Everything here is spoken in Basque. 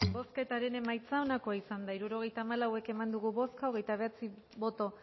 bozketaren emaitza onako izan da hirurogeita hamalau eman dugu bozka hogeita bederatzi boto